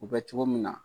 U bɛ cogo min na